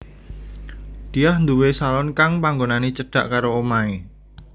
Diah nduwé salon kang panggonané cedhak karo omahé